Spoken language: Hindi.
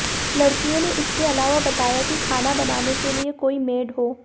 लड़कियों ने इसके अलावा बताया कि खाना बनाने के लिए कोई मेड हो